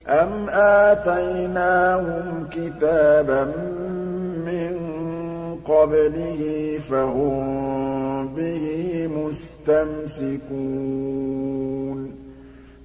أَمْ آتَيْنَاهُمْ كِتَابًا مِّن قَبْلِهِ فَهُم بِهِ مُسْتَمْسِكُونَ